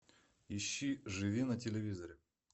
ищи живи на телевизоре